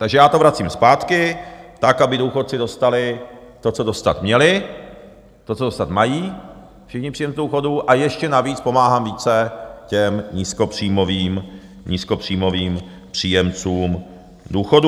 Takže já to vracím zpátky tak, aby důchodci dostali to, co dostat měli, to, co dostat mají všichni příjemci důchodů, a ještě navíc pomáhám více těm nízkopříjmovým příjemcům důchodů.